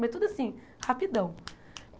Mas tudo assim, rapidão.